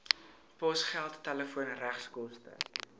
posgeld telefoon regskoste